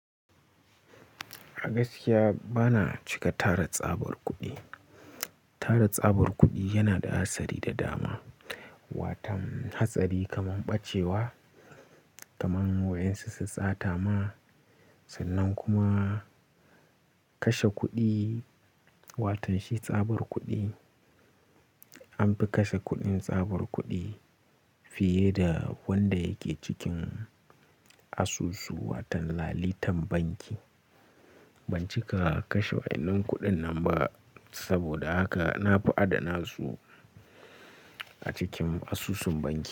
Agaskiya bana cika tara tsabar kuɗi. Tara tsabar kuɗi yana da hatsari da dama, watan hatsari kamar ɓacewa, kamar waƴan su su sata ma, sannan kuma kashe kuɗi watan shi tsabar kuɗi. An fi kashe kuɗin tsabar kuɗi fiye da wanda yake cikin asusu watan lalitan banki. Ban cika kashe waƴannan kuɗin nan ba saboda haka na fi adana su a cikin asusun banki.